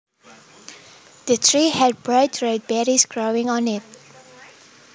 The tree had bright red berries growing on it